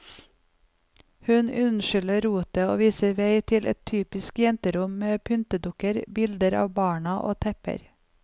Hun unnskylder rotet og viser vei til et typisk jenterom med pyntedukker, bilder av barna og tepper.